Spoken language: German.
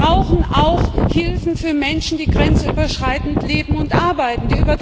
Wir brauchen auch Hilfen für Menschen, die grenzüberschreitend leben und arbeiten.